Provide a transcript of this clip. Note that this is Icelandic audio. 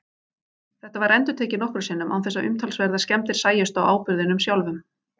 Þetta var endurtekið nokkrum sinnum án þess að umtalsverðar skemmdir sæjust á áburðinum sjálfum.